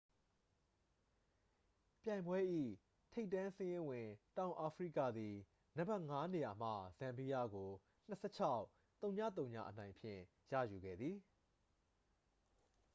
ပြိုင်ပွဲ၏ ထိပ်တန်းစာရင်းဝင် တောင်အာဖရိကသည် နံပါတ် 5 နေရာမှ ဇမ်ဘီယားကို 26-ဝဝ အနိုင်ဖြင့် ရယူခဲ့သည်